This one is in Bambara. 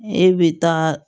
E bɛ taa